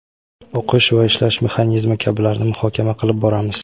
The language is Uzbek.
o‘qish va ishlash mexanizmi kabilarni muhokama qilib boramiz!.